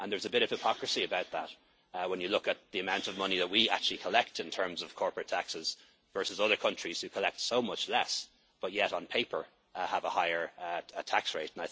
There is a bit of hypocrisy about that when you look at the amount of money that we actually collect in terms of corporate taxes versus other countries who collect so much less but yet on paper have a higher tax